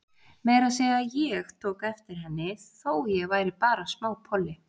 Meira að segja ég tók eftir henni, þó ég væri bara smápolli.